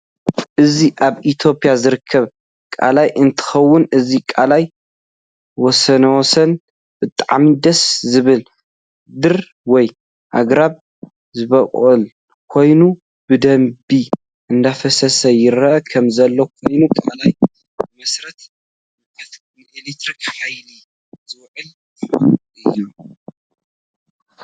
እዚ ኣብ ኢትዮጵያ ዝርከብ ቃላይ እንትከውን እዚ ቃላይ ወስንወሰኑ ብጣዓሚ ደስ ዝብል ድር ወይ ኣግራብ ዝበቀለ ኮይኑ ብደንብ እደፈሰሰ ይርእ ከም ዘሎ ኮይኑ ቃላይ ብመሰረቱ ንኤለትርክ ሓይሊ ዝውዕል መካኑ እዩ።